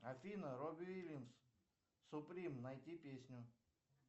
афина робби уильямс суприм найти песню